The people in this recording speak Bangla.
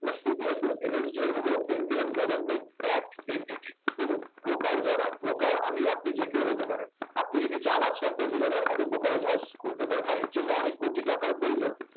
আপনার CDSL, NSDL হলো indian government backed entity এবং broker যারা broker আমি আপনি যে কেউ হতে পারে আপনি যদি চান আজকে একটা জিরোধা র মতন brokerage house খুলতে পারেন হ্যাঁ এর জন্য অনেক কোটি টাকার প্রয়োজন